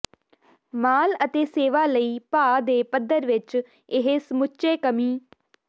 ਮਾਲ ਅਤੇ ਸੇਵਾ ਲਈ ਭਾਅ ਦੇ ਪੱਧਰ ਵਿਚ ਇਹ ਸਮੁੱਚੇ ਕਮੀ